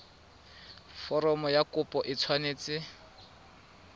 foromo ya kopo e tshwanetse